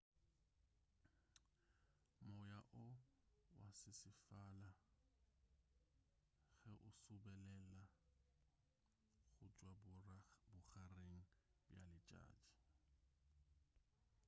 moya o wa sesefala ge o subelela go tšwa bogareng bja letšatši